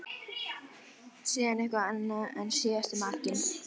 Síðan eitthvað annað og síðast makinn.